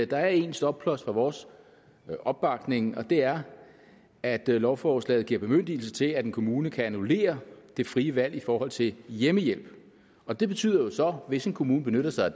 der er en stopklods for vores opbakning og det er at lovforslaget giver bemyndigelse til at en kommune kan annullere det frie valg i forhold til hjemmehjælp og det betyder jo så hvis en kommune benytter sig